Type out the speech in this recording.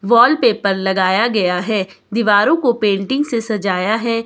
Wallpaper लगाया गया है दीवारों को पेंटिंग से सजाया है।